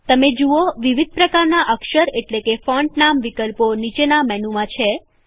તમે જુઓ વિવિધ પ્રકારનાં અક્ષર એટલેકે ફોન્ટ નામ વિકલ્પો નીચેનાં મેનુમાં છે